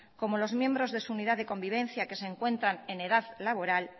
como los miembros de su unidad de convivencia que se encuentran en edad laboral